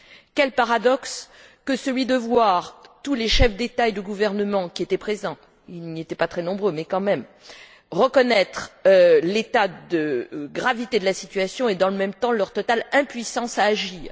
Quel paradoxe que celui de voir tous les chefs d'État et de gouvernement qui étaient présents ils n'étaient pas très nombreux, mais quand même reconnaître l'état de gravité de la situation et, dans le même temps, leur totale impuissance à agir!